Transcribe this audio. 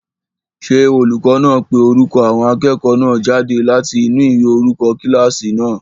Ṣé olùkọ́ náà ń pe orúkọ àwọn akẹ́kọ̀ọ́ náà jáde láti inú ìwé orúkọ kílásì náà?